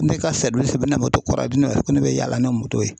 Ne ka o bɛna kura diyan ko ne bɛ yaala n'o ye.